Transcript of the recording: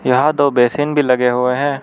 यहाँ दो बेसिन भी लगे हुए हैं।